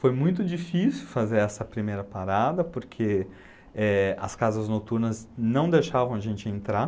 Foi muito difícil fazer essa primeira parada, porque é, as casas noturnas não deixavam a gente entrar.